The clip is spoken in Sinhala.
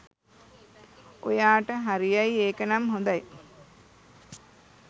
ඔයාට හරියයි ඒකනම් හොදයි